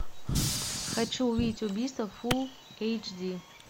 хочу увидеть убийство фулл эйч ди